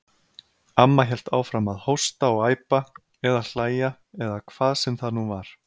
Amma hélt áfram að hósta og æpa, eða hlæja, eða hvað sem það nú var.